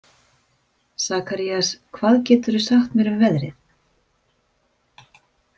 Sakarías, hvað geturðu sagt mér um veðrið?